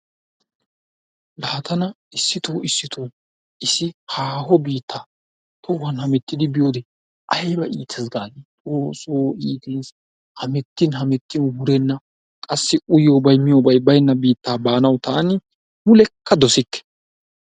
Laa tana issito issito issi haaho biittaa hohuwan hemettidi biyode ayba iitees gaadi! Xoossoo iitees, hamettin hamettin wurenna. Qassi uyiyobay miyobay baynna biittaa baanawu taani mulekka dosikke.